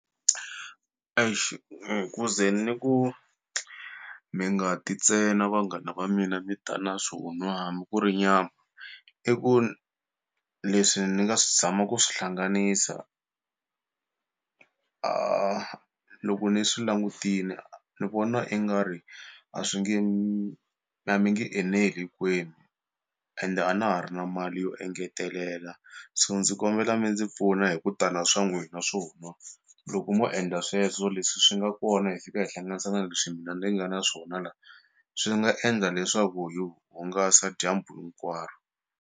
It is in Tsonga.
ku ze ni ku mi nga ti ntsena vanghana va mina mi ta na swo nwa hambi ku ri nyama i ku leswi ni nga swi zama ku swi hlanganisa a loko ni swi langutini ni vona i nga ri a swi nge a mi nge eneli hinkwenu ende a na ha ri na mali yo engetelela so ndzi ku kombela mi ndzi pfuna hi kuta na swa n'wina na swo nwa loko mo endla sweswo leswi swi nga kona hi fika hi hlanganisa na leswi mina ni nga na swona la swi nga endla leswaku hi hungasa dyambu hinkwaro.